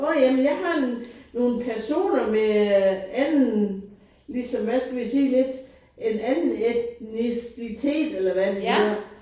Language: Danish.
Nåh ja men jeg har nogle nogle personer med øh anden ligesom hvad skal vi sige lidt en anden etnicitet eller hvad det nu hedder